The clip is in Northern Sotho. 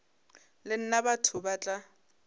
le nna batho ba tla